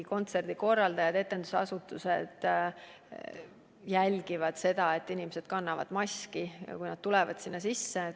Kontserdikorraldajad, etendusasutused jälgivad, et inimesed kannavad maski, kui nad hoonesse sisse tulevad.